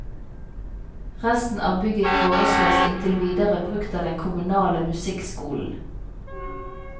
Resten av bygget foreslås inntil videre brukt av den kommunale musikkskolen.